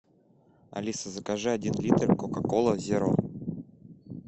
алиса закажи один литр кока кола зеро